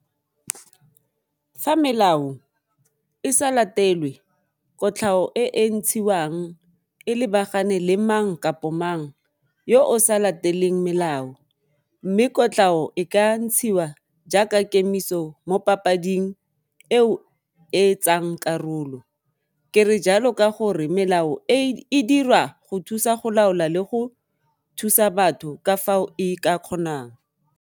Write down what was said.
Fa melao e sa latelwe kotlhao e e ntshiwang e lebagane le mang kapo mang yo o sa lateleng melao mme kotlhao e ka ntshiwa jaaka kemiso mo papading eo e tsang karolo. Ke re jalo ka gore melao e e dira go thusa go laola le go thusa batho ka fao e ka kgonang.